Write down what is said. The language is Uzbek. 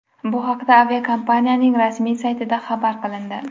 Bu haqda aviakompaniyaning rasmiy saytida xabar qilindi .